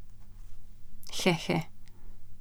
He he ...